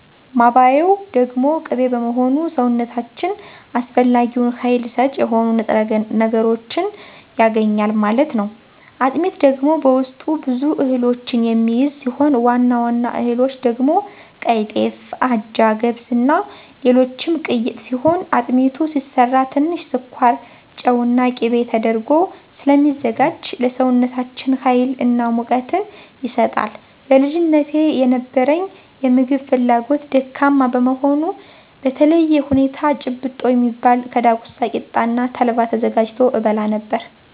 ማባያው ደግሞ ቅቤ በመሆኑ ሰውነታችን አስፈላጊውን ሀይል ሰጭ የሆኑ ንጥረ ነገሮችን ያገኛል ማለት ነው። አጥሚት ደግሞ በውስጡ ብዙ እህሎችን የሚይዝ ሲሆን ዋና ዋና እህሎች ደግሞ ቀይጤፍ; አጃ; ገብስ; እና ሌሎችም ቅይጥ ሲሆን አጥሚቱ ሲሰራ ትንሽ ስኳር; ጨው እና ቂቤ ተደርጎ ስለሚዘጋጅ ለሰውነታችን ሀይል እና ሙቀትን ይሰጣል። በልጅነቴ የነበረኝ የምግብ ፍላጎት ደካማ በመሆኑ በተለየ ሁኔታ ጭብጦ የሚባል ከዳጉሳ ቂጣ እና ተልባ ተዘጋጅቶ እበላ ነበር።